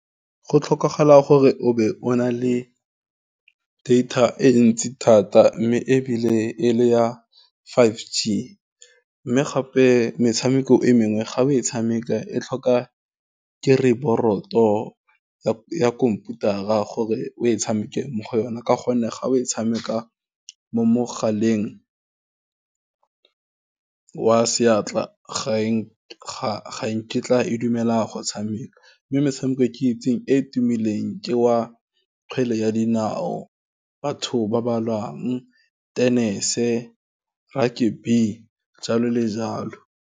Go tlhokagala gore o be o na le data e ntsi thata, mme ebile e le ya five g, mme gape metshameko e mengwe ga o e tshameka e tlhoka keyboard ya khomputara gore o e tshamekang mo go yona, ka gonne ga o e tshameka mo mogaleng wa seatla ga nkitla e dumela go tshameka, mme metshameko e ke itseng e e tumileng ke wa kgwele ya dinao, batho ba ba lwalang, tennis-e, rugby-e, jalo le jalo.